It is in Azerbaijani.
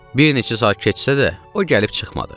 Bir neçə saat keçsə də, o gəlib çıxmadı.